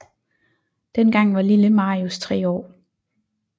Dengang var Lille Marius tre år